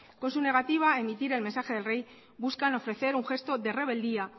con su negativa a emitir el mensaje del rey buscan ofrecer un gesto de rebeldía